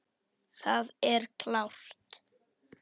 Það er klárt.